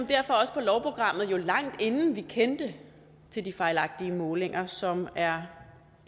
derfor også på lovprogrammet lang tid inden vi kendte til de fejlagtige målinger som er